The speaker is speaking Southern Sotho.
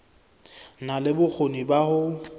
na le bokgoni ba ho